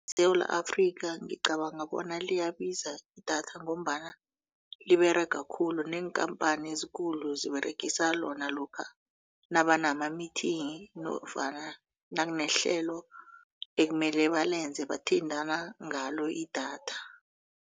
ESewula Afrika ngicabanga bona liyabiza idatha ngombana liberega khulu neenkhamphani ezikulu ziberegisa lona lokha nabamamithini nofana nakunehlelo ekumele balenze bathintana ngalo idatha.